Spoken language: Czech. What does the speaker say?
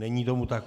Není tomu tak.